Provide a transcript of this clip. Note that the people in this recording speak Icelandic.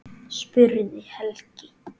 spurði Helgi.